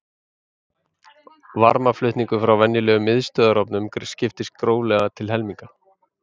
Varmaflutningur frá venjulegum miðstöðvarofnum skiptist gróflega til helminga.